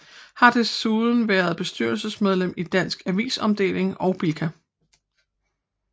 Har desuden været bestyrelsesmedlem i Dansk Avis Omdeling og Blika